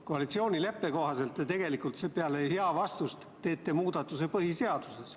Koalitsioonileppe kohaselt te tegelikult peale jaa‑vastust teete muudatuse põhiseaduses.